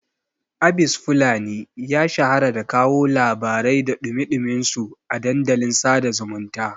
Abis fulani ya shahara da kawo labarai da ɗumi-ɗuminsu a dandalin sada zumunta